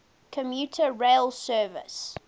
commuter rail service